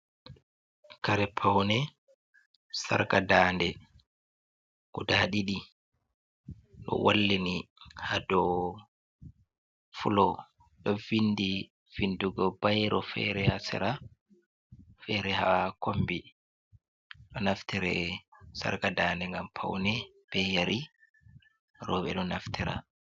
Kare paune sarga dande guda ɗiɗi ɗo wallini hado filo, ɗo vindi vindugo bairo fere ha sera. Fere ha kombi ɗo naftire sarga dande ngam paune be yeri roɓe ɗo naftira.